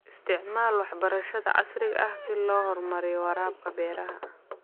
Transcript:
Isticmaal waxbarashada casriga ah si loo horumariyo waraabka beeraha.